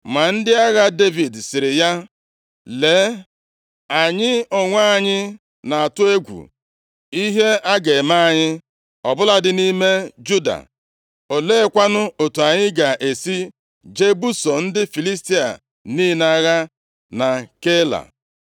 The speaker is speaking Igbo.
Ma ndị agha Devid sịrị ya, “Lee, anyị onwe anyị na-atụ egwu ihe a ga-eme anyị, ọ bụladị nʼime Juda, oleekwanụ otu anyị ga-esi jee buso ndị Filistia niile agha na Keila?”